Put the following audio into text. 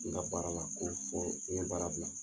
N ka baara la ko fɔ n ye baara bila.